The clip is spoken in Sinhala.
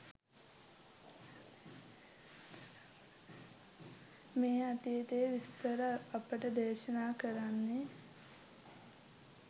මේ අතීතයේ විස්තර අපට දේශනා කරන්නේ.